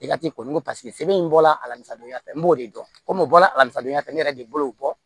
I ka ci kɔni paseke sɛbɛn in bɔra a la sisan donya fɛ n b'o de dɔn komi o bɔra alisa don ya fɛ ne yɛrɛ de bolo